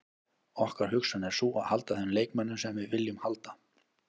Okkar hugsun er sú að halda þeim leikmönnum sem við viljum halda.